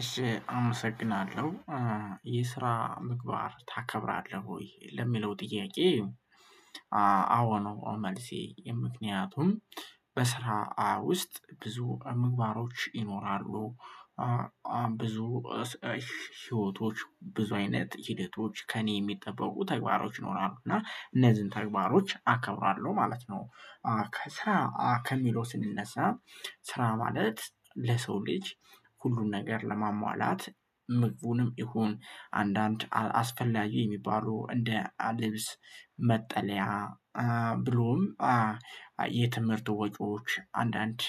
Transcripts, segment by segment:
እሺ አመሰግናለሁ የስራ ምግባር ታከብራለህ ወይ ለሚለው ጥያቄ? አዎ ነው መልሴ ምክንያቱም በስራ ውስጥ ብዙ ምግባሮች ይኖራሉ። ብዙ ህይወቶች ብዙ አይነት ሂደቶች ከእኔ የሚጠበቁ ተግባሮች ይኖራሉ እና እነዚህን ተግባሮች አከብራለሁ ማለት ነው። ከስራ ከሚለው ስንነሳ ስራ ማለት ለሰው ልጅ ሁሉን ነገር ለማሟላት ምግቡንም ይሁን አንዳንድ አስፈላጊ የሚባሉ እንደ ልብስ። ብሎም የትምህርት ወጪዎች አንዳንድ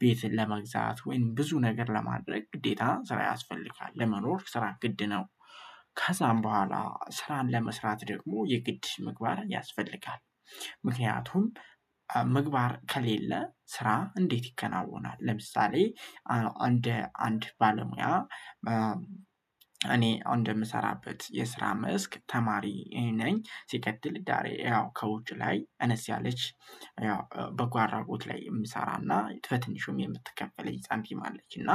ቤት ለመግዛት ወይም ብዙ ነገር ለማድረግ ግዴታ ስራ ያስፈልጋል ለመኖር ስራን ግድ ነው። ከዛም በኋላ ስራን ለመስራት ደግሞ የግድ ምግባር ያስፈልጋል። ምክንያቱም ምግባር ከሌለ ስራ እንዴት ይከናወናል? ለምሳሌ አንድ ባለሙያ እኔ እንደምሰራበት የስራ መስክ ተማሪ ነኝ። ሲቀጥል ዳሬ ያው ከውጭ ላይ አነስ ያለች ያው በጎ አድራጎት ላይ የምሰራና በ ትንሹም የምትከፈለኝ ሳንቲም አለች እና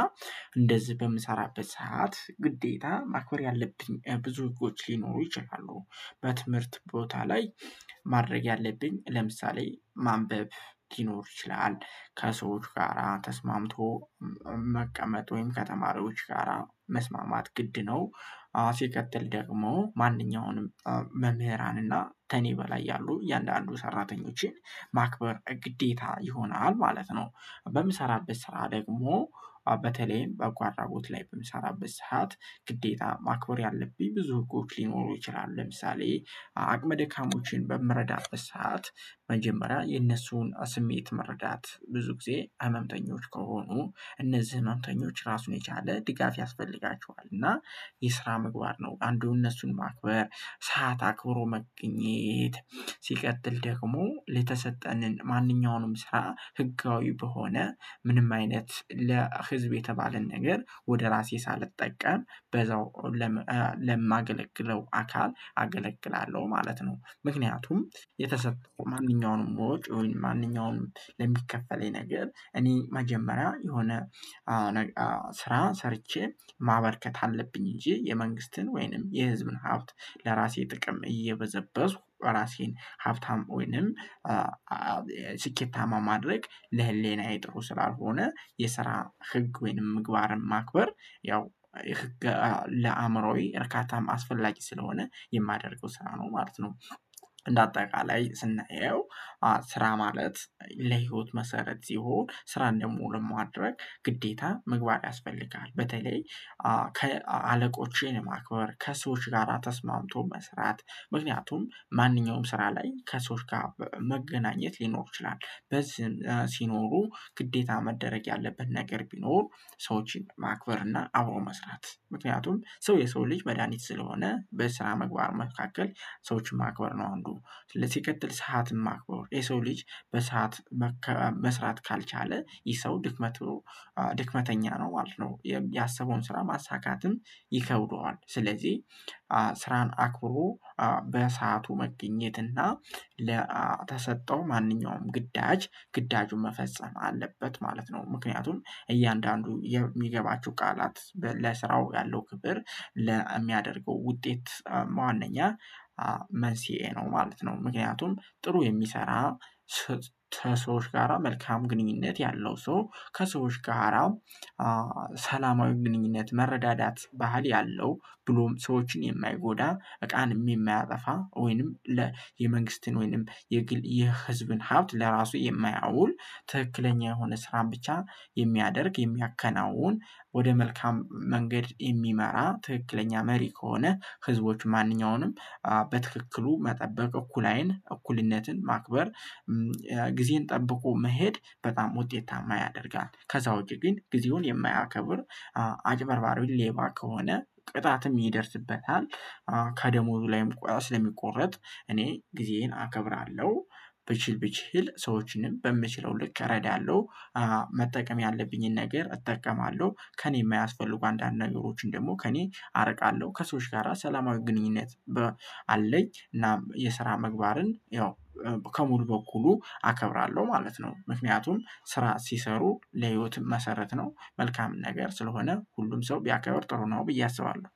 እንደዚህ በምሰራበት ሰዓት ግዴታ ማክበር ያለብኝ ብዙ ህጎች ሊኖሩ ይችላሉ። በትምህርት ቦታ ላይ ማድረግ ያለብኝ ለምሳሌ ማንበብ ሊኖር ይችላል። ከሰዎች ጋራ ተስማምቶ መቀመጥ ወይም ከተማሪዎች ጋራ መስማማት ግድ ነው። አዎ ሲቀጥል ደግሞ ማንኛውንም መምህራን እና ከኔ በላይ ያሉ እያንዳንዱ ሰራተኞችን ማክበር ግዴታ ይሆናል ማለት ነው። በምሰራበት ስራ ደግሞ በተለይም በጎ አድራጎት ላይ በምሰራበት ሰዓት ግዴታ ማክበር ያለብኝ ብዙ ህጎች ሊኖሩ ይችላሉ። ለምሳሌ አቅመ ደካሞችን በምረዳበት አትት መጀመሪያ የነሱን ስሜት መረዳት ብዙ ጊዜ ህመምተኞች ከሆኑ እነዚህ ህመምተኞች ራሱን የቻለ ድጋፍ ያስፈልጋቸዋል። እና የስራ ምግባር ነው አንዱን እነሱን ማክበር ሰዓት አክብሮ መገኘት። ሲቀጥል ደግሞ የተሰጠንን ማንኛውንም ስራ ህጋዊ በሆነ ምንም አይነት ለህዝብ የተባለን ነገር ወደ ራሴ ሳልጠቀም በዛው ለማገለግለው አካል አገለግላለሁ ማለት ነው። ምክንያቱም የተሰጠው ማንኛውንም ወጭውን ማንኛውንም ለሚከፈለኝ ነገር እኔ መጀመሪያ የሆነ ስራ ሰርቼ ማበርከት አለብኝ እንጂ የመንግስትን ወይንም የህዝብን ሀብት ለራሴ ጥቅም እየበዘበዝኩ ራሴን ሀብታም ወይንም ስኬታማ ማድረግ ለህሌናዬ ጥሩ ስላልሆነ የስራ ህግ ወይንም ምግባርን ማክበር ያው ለአእምሮዬ እርካታም አስፈላጊ ስለሆነ የማደርገው ስራ ነው ማለት ነው። እንደ አጠቃላይ ስናየው ስራ ማለት ለህይወት መሰረት ይሁን ስራን ደግሞ ለማድረግ ግዴታ መግባት ያስፈልጋል። በተለይ ከ አለቆቼን ማክበር ከሰዎች ጋራ ተስማምቶ መስራት ምክንያቱም ማንኛውም ስራ ላይ ከሰዎች ጋር መገናኘት ሊኖር ይችላል በዚህ ሲኖሩ ግዴታ መደረግ ያለበት ነገር ቢኖር። ሰዎችን ማክበር እና አብሮ መስራት ምክንያቱም ሰው የሰው ልጅ መድሃኒት ስለሆነ በስራ ምግባር መካከል ሰዎችን ማክበር ነው። አንዱ ሲቀጥል ሰዓትን ማክበር የሰው ልጅ በሰአት መስራት ካልቻለ ይህ ሰው ድክመት ድክመተኛ ነው ማለት ነው። ያሰበውን ስራ ማሳካትም ይከብደዋል ስለዚህ ስራን አክብሮ በሰአቱ መገኘት እና ለተሰጠው ማንኛውም ግዳጅ ግዳጁን መፈጸም አለበት ማለት ነው። ምክንያቱም እያንዳንዱ የሚገባችሁ ቃላት ለስራው ያለው ክብር ለሚያደርገው ውጤት በ ዋንኛ መንስኤ ነው ማለት ነው። ምክንያቱም ጥሩ የሚሰራ ሰዎች ጋራ መልካም ግንኙነት ያለው ሰው ከሰዎች ጋራ ሰላማዊ ግንኙነት መረዳዳት ባህል ያለው ብሎም ሰዎችን የማይጎዳ እቃንም የማያጠፋ ወይንም ለ የመንግስትን ወይንም የህዝብን ሀብት ለራሱ የማያውል ትክክለኛ የሆነ ስራን ብቻ የሚያደርግ የሚያከናውን ወደ መልካም መንገድ የሚመራ ትክክለኛ መሪ ከሆነ ህዝቦች ማንኛውንም በትክክሉ መጠበቅ እኩል አይን እኩልነትን ማክበር። ጊዜን ጠብቆ መሄድ በጣም ውጤታማ ያደርጋል። ከዛ ውጪ ግን ጊዜውን የማያከብር አጭበርባሪ ሌባ ከሆነ ቅጣትም ይደርስበታል። ከደሞዙ ላይም ስለሚቆረጥ እኔ ጊዜዬን አከብራለሁ። ብችል ብችል ሰዎችንም በምችለው ልክ እረዳለሁ። መጠቀም ያለብኝን ነገር እጠቀማለሁ ከእኔ የማያስፈልጉ አንዳንድ ነገሮችን ደግሞ ከእኔ አርቃለሁ። ከሰዎች ጋራ ሰላማዊ ግንኙነት አለኝ። እና የስራ መግባርን ያው ከሙሉ በኩሉ አከብራለሁ ማለት ነው። ምክንያቱም ስራ ሲሰሩ ለህይወትም መሰረት ነው መልካም ነገር ስለሆነ ሁሉም ሰው ቢያከብር ጥሩ ነው ብዬ አስባለሁ